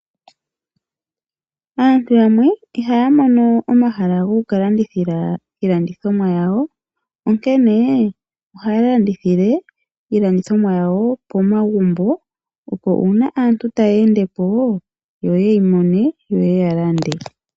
Aantu yamwe ihaya mono omahala goku kalandithila iilandothomwa yawo onkene ohaya landithile iilandithomwa yawo pomagumbo, opo uuna aantu ngele taya endepo yo yeyi mone yo ye ya lande.